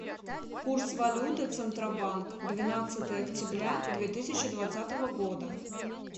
курс валюты центробанк двенадцатое октября две тысячи двадцатого года